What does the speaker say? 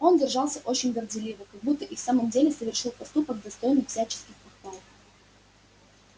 он держался очень горделиво как будто и в самом деле совершил поступок достойный всяческих похвал